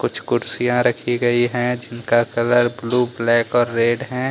कुछ कुर्सियां रखी गई है जिनका कलर ब्ल्यू ब्लैक और रेड है।